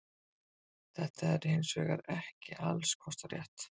þetta er hins vegar ekki alls kostar rétt